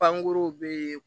Pankuruw be